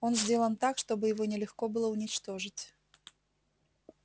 он сделан так чтобы его нелегко было уничтожить